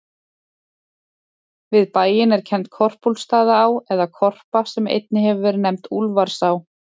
Við bæinn er kennd Korpúlfsstaðaá, eða Korpa, sem einnig hefur verið nefnd Úlfarsá.